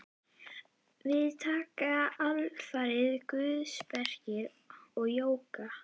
Við taka alfarið guðspeki og jóga.